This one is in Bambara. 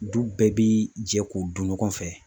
Du bɛɛ bi jɛ k'u dun ɲɔgɔn fɛ